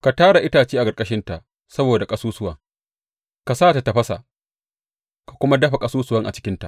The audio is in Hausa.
Ka tara itace a ƙarƙashinta saboda ƙasusuwan; ka sa ta tafasa ka kuma dafa ƙasusuwan a cikinta.